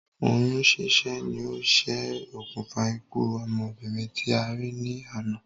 Oyún sísẹ́ ni o ṣe òkùnfà ikú ọmọbìnrin tí a rí ní àná